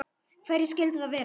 Hverjir skyldu það vera?